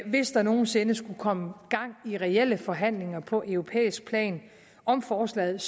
hvis der nogen sinde skulle komme gang i reelle forhandlinger på europæisk plan om forslaget